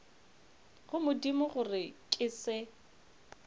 go modimo gore ke se